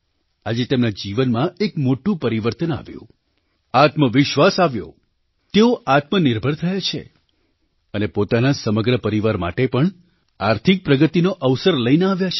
આજે તેમના જીવનમાં એક મોટું પરિવર્તન આવ્યું આત્મવિશ્વાસ આવ્યો તેઓ આત્મનિર્ભર થયાં છે અને પોતાનાં સમગ્ર પરિવાર માટે પણ આર્થિક પ્રગતિનો અવસર લઈને આવ્યાં છે